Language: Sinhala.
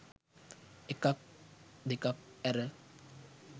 එකක් දෙකක් ඇර.